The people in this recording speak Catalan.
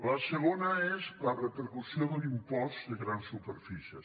la segona és la repercussió de l’impost de grans superfícies